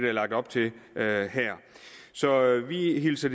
er lagt op til her så vi hilser